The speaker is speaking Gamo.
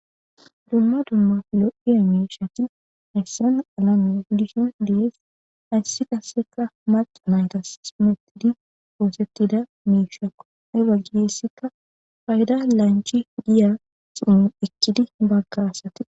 Dumma dumma lo'iza mishshati hayissanni alamenni dishshinni ,hayissi qasekka maca nayitas xumetidi oththetidi mishshekko.hee bagayissikka payida lanichchi giya xuufe ekide hee baga asati